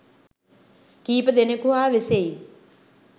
කීප දෙනෙකු හා වෙසෙයි